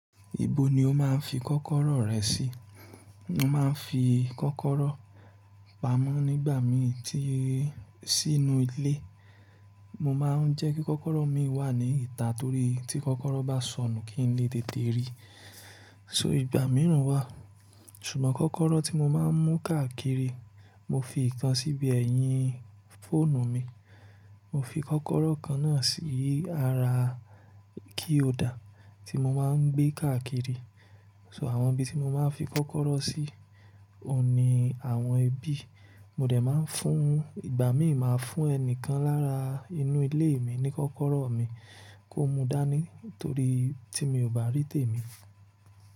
Ibo ni o máa ń fi kọ́kọ́rọ́ rẹ sí? Mo máa ń fi kọ́kọ́rọ́ pamọ́ nígbà mí tí sínú ilé. Mo máa ń jẹ́ kí kọ́kọ́rọ́ mii wà ní ìta torí tí kọ́kọ́rọ́ bá sọnù kí n lè tètè rí. So ìgbà mìíràn wà, ṣùgbọ́n kọ́kọ́rọ́ tí mo máa ń mú káàkiri, mo fi ìkàn síbi ẹ̀yìn fóònù mi. Mo fi kọ́kọ́rọ́ kan náà sí ara keyholder tí mo máa ń gbé káàkiri. So àwọn ibi tí mo máa ń fi kọ́kọ́rọ́ sí, òun ní àwọn ibi. Mo dè máa ń fún, ìgbà mí máa fún ẹni kan lára inú ilé mi ní kọ́kọ́rọ́ mi kó mu dání torí tí mi ò bá rí tèmi.